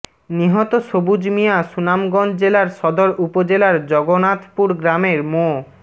নিহত সবুজ মিয়া সুনামগঞ্জ জেলার সদর উপজেলার জগনাথপুর গ্রামের মো